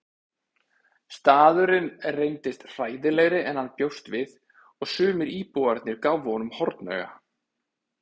Staðurinn reyndist hræðilegri en hann bjóst við og sumir íbúarnir gáfu honum hornauga.